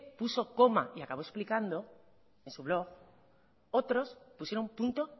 puso coma y acabó explicando en su blog otros pusieron punto